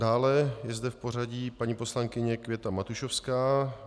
Dále je zde v pořadí paní poslankyně Květa Matušovská.